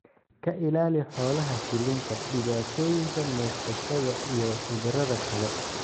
ka ilaali xoolaha shilinta, dhibaatooyinka neefsashada iyo cudurrada kale.